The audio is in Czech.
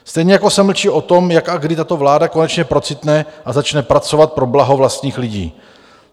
Stejně jako se mlčí o tom, jak a kdy tato vláda konečně procitne a začne pracovat pro blaho vlastních lidí.